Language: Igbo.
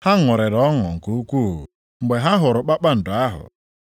Ha ṅụrịrị ọṅụ nke ukwuu mgbe ha hụrụ kpakpando ahụ.